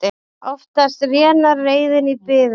Oftast rénar reiðin í biðum.